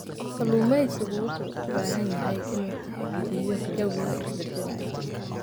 Kalluumeysigu wuxuu u baahan yahay inuu tixgeliyo jawiga isbeddelaya.